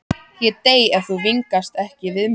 Ég dey ef þú vingast ekki við mig aftur.